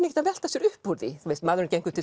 ekkert að velta sér upp úr því þú veist maðurinn gengur til